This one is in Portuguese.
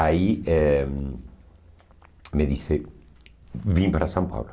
Aí eh me disse, vim para São Paulo.